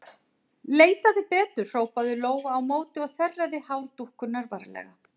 Leitaðu betur, hrópaði Lóa á móti og þerraði hár dúkkunnar varlega.